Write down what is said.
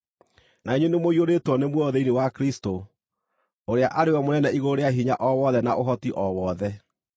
na inyuĩ nĩmũiyũrĩtwo nĩ muoyo thĩinĩ wa Kristũ, ũrĩa arĩ we Mũnene igũrũ rĩa hinya o wothe na ũhoti o wothe.